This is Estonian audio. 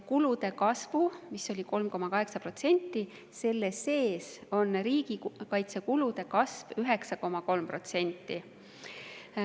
Kulude kasv on 3,8%, seal sees on riigikaitsekulude kasv 9,3%.